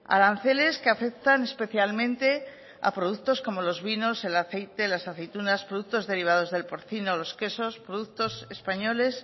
aranceles que afectan especialmente a productos como los vinos el aceite las aceitunas productos derivados del porcino los quesos productos españoles